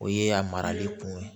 O ye a marali kun ye